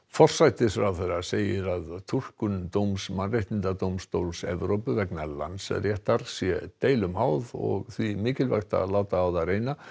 forsætisráðherra segir að túlkun dóms Mannréttindadómstóls Evrópu vegna Landsréttar sé deilum háð og því mikilvægt að láta á það reyna